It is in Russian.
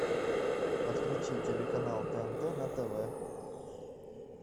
подключи телеканал тнт на тв